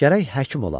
Gərək həkim olam.